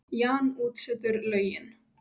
Jan útsetur lögin.